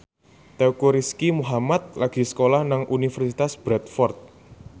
Teuku Rizky Muhammad lagi sekolah nang Universitas Bradford